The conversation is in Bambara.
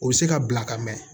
O bɛ se ka bila ka mɛn